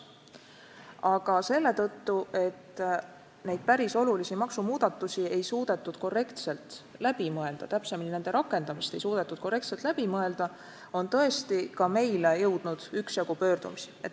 Ning selle tõttu, et neid päris suuri maksumuudatusi ei suudetud korrektselt läbi mõelda või täpsemalt, nende rakendamist ei suudetud korrektselt läbi mõelda, on tõesti ka meile jõudnud üksjagu pöördumisi.